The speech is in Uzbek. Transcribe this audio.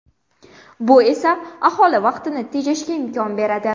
Bu esa aholi vaqtini tejashga imkon beradi.